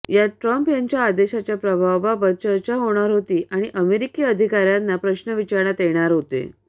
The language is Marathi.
यात ट्रम्प यांच्या आदेशाच्या प्रभावाबाबत चर्चा होणार होती आणि अमेरिकी अधिकाऱ्यांना प्रश्न विचारण्यात येण्यात होते